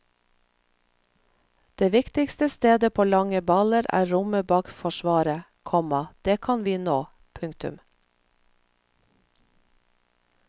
Det viktigste stedet på lange baller er rommet bak forsvaret, komma det kan vi nå. punktum